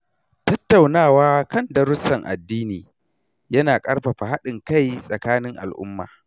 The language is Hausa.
Tattaunawa kan darussan addini ya na ƙarfafa haɗin kai tsakanin al’umma.